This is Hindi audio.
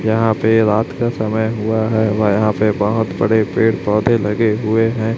यहां पे रात का समय हुवा हैं व यहां पे बहोत बड़े पेड़ पौधे लगे हुए हैं।